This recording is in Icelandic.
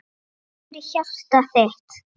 Takk fyrir hjartað þitt.